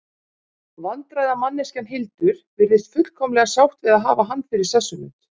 Vandræðamanneskjan Hildur virðist fullkomlega sátt við að hafa hann fyrir sessunaut.